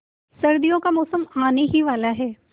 सर्दियों का मौसम आने ही वाला है